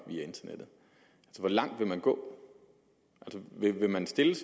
via internettet hvor langt vil man gå vil man stille